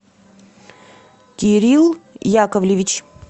кирилл яковлевич